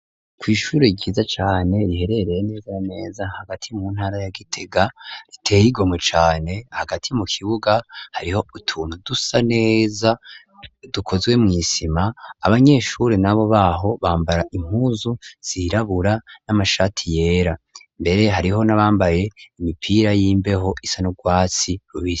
Kw'ishuri ryiza cane riherereye neza ameza hagati mu ntara yagitega ritehe rigomwe cane hagati mu kibuga hariho utuntu dusa neza dukozwe mw'isima abanyeshuri na bo baho bambara impuzu siirabura n'amashati yera mbere hariho nabambaye imipiya ra yimbeho isana urwatsi rubiria.